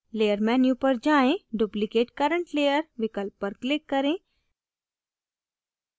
layer menu पर जाएँ duplicate current layer विकल्प पर click करें